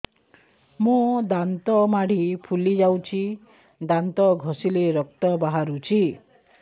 ମୋ ଦାନ୍ତ ମାଢି ଫୁଲି ଯାଉଛି ଦାନ୍ତ ଘଷିଲେ ରକ୍ତ ବାହାରୁଛି